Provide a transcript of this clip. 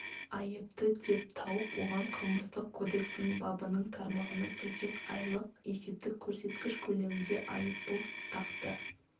айыпты деп тауып оған қылмыстық кодексінің бабының тармағына сәйкес айлық есептік көрсеткіш көлемінде айыппұл тақты